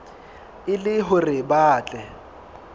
e le hore ba tle